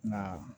Nka